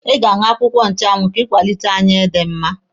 Ị ga-aṅụ akwụkwọ nchụanwụ ka ị kwalite anya dị mma.